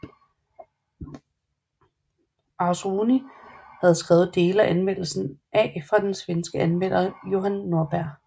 Arzrouni havde skrevet dele af anmeldelsen af fra den svenske anmelder Johan Norberg